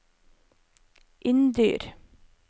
Inndyr